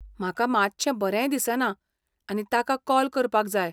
म्हाका मातशें बरें दिसना आनी ताका कॉल करपाक जाय.